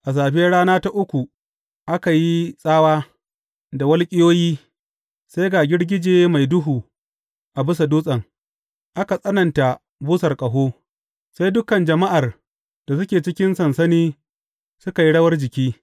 A safiyar rana ta uku, aka yi tsawa, da walƙiyoyi, sai ga girgije mai duhu a bisa dutsen, aka tsananta busar ƙaho, sai dukan jama’ar da suke cikin sansani suka yi rawar jiki.